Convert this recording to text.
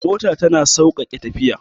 Mota tana sauƙaƙe tafiya